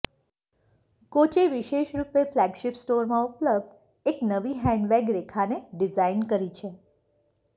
coach વિશેષરૂપે flagship સ્ટોરમાં ઉપલબ્ધ એક નવી હેન્ડબેગ રેખાને ડિઝાઇન કરી છે